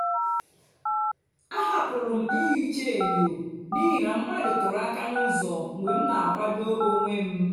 ahapụrụ m ihicha enyo n’ihi na mmadụ kuru aka n'ụzọ mgbe m na-akwado onwe m.